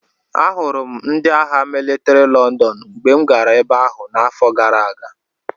Ahụrụ m ndị agha mịlịtrị Lọndọn mgbe m gara ebe ahụ n’afọ gara aga.